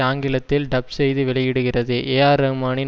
ஆங்கிலத்தில் டப் செய்து வெளியிடுகிறது ஏஆர் ரஹ்மானின்